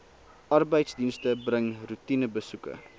arbeidsdienste bring roetinebesoeke